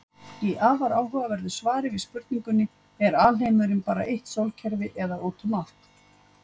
Í afar áhugaverðu svari við spurningunni Er alheimurinn bara eitt sólkerfi eða út um allt?